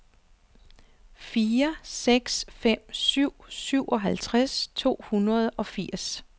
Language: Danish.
fire seks fem syv syvogtres to hundrede og firs